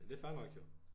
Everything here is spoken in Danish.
Men det fair nok jo